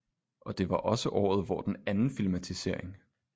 Og det var også året hvor den anden filmatisering